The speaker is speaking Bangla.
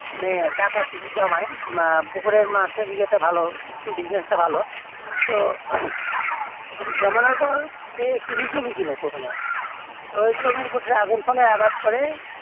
টাকা কিছু জমায় আহ পুকুরের মাছেরই ইয়েটা ভালো business টা ভালো তো জমানোর পর সে কিছু জমি কেনে প্রথমে ওই জমির ওপর dragon ফলে আবাদ করে